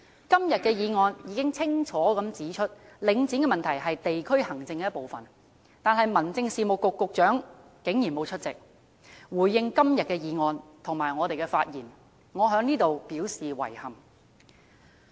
今天的議案已經清楚指出，領展問題是地區行政的一部分，但民政事務局局長竟然沒有出席回應今天的議案和我們的發言，我在此表示遺憾。